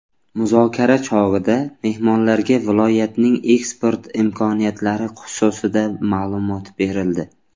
Muzokara chog‘ida mehmonlarga viloyatning eksport imkoniyatlari xususida ma’lumot berildi.